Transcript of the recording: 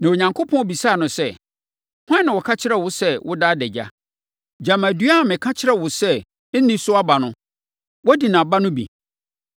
Na Onyankopɔn bisaa no sɛ, “Hwan na ɔka kyerɛɛ wo sɛ na woda adagya? Gyama dua a meka kyerɛɛ wo sɛ, nni so aba no, woadi nʼaba no bi?”